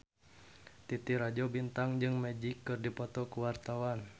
Titi Rajo Bintang jeung Magic keur dipoto ku wartawan